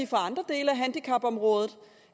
fra andre dele af handicapområdet